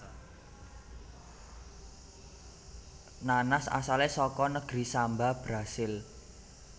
Nanas asalé saka negeri Samba Brasil